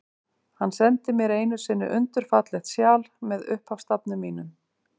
Hann sendi mér einu sinni undur fallegt sjal, með upphafsstafnum mínum.